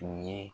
U ye